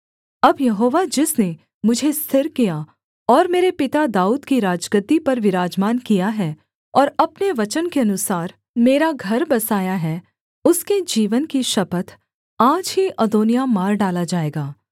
अब यहोवा जिसने मुझे स्थिर किया और मेरे पिता दाऊद की राजगद्दी पर विराजमान किया है और अपने वचन के अनुसार मेरा घर बसाया है उसके जीवन की शपथ आज ही अदोनिय्याह मार डाला जाएगा